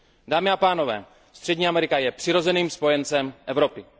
Dámy a pánové, Střední Amerika je přirozeným spojencem Evropy.